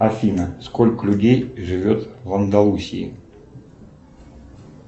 афина сколько людей живет в андалусии